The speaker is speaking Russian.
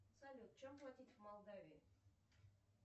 салют чем платить в молдавии